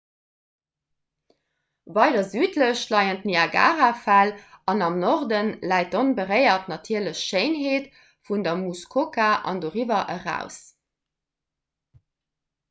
weider südlech leien d'niagarafäll an am norde läit d'onberéiert natierlech schéinheet vun der muskoka an doriwwer eraus